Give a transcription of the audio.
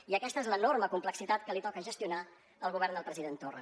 i aquesta és l’enorme complexitat que li toca gestionar al govern del president torra